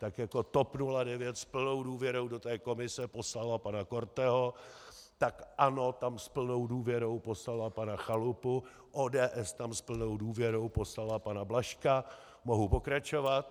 Tak jako TOP 09 s plnou důvěrou do té komise poslalo pana Korteho, tak ANO tam s plnou důvěrou poslalo pana Chalupu, ODS tam s plnou důvěrou poslala pana Blažka, mohu pokračovat.